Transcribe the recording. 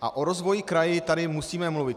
A o rozvoji kraje tady musíme mluvit.